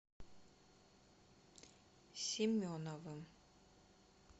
семеновым